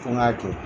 Fo n k'a kɛ